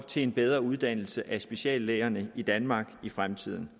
til en bedre uddannelse af speciallægerne i danmark i fremtiden